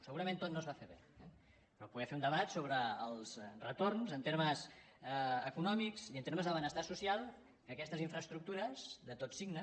segurament tot no es va fer bé però poder fer un debat sobre els retorns en termes econòmics i en termes de benestar social que aquestes infraestructures de tot signe